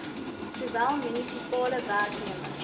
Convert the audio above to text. sowel munisipale werknemers